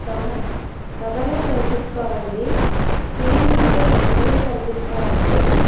తం-- తబల కనిపిస్తా ఉంది స్టీల్ గిన్నెలు కనిపిస్తా ఉన్నాయి.